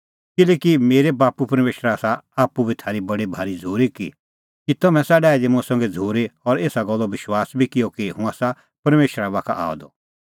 किल्हैकि मेरै बाप्पू परमेशरा आसा आप्पू बी थारी बडी भारी झ़ूरी कि तम्हैं आसा डाही दी मुंह संघै झ़ूरी और एसा गल्लो विश्वास बी किअ कि हुंह आसा परमेशरा बाखा आअ द